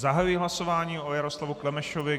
Zahajuji hlasování o Jaroslavu Klemešovi.